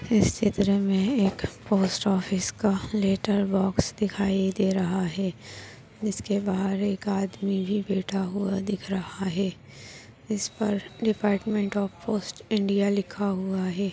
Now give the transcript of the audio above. इस चित्र मे एक पोस्ट ऑफिस का लैटर बॉक्स दिखाई दे रहा है जिसके बाहर एक आदमी भी बैठा हुआ दिख रहा है इस पर डिपार्टमेंट ऑफ़ पोस्ट इंडिया लिखा हुआ है।